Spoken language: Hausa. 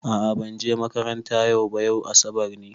A'a ban je makaranta yau ba, yau asabar ne.